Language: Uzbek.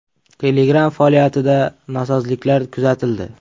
Telegram faoliyatida nosozliklar kuzatildi.